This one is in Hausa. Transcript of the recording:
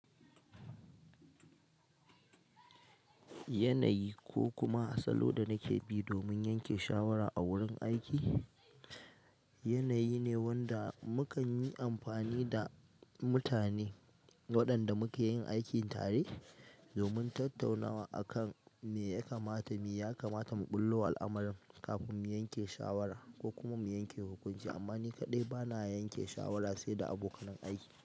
Yanayi ko kuma salo da nake bi domin yanke shawara a wurin aiki, yanayi ne wanda mukan yi amfani da mutane waɗanda muke yin aiki tare domin tattaunawa akan me ya kamata mu ɓullo wa al'amuran kafin mu yanke shawara ko kuma mu yanke hukunci. Amma ni kaɗai bana yanke shawara sai da abokan aiki.